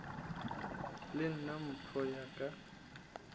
le nna mpho ya ka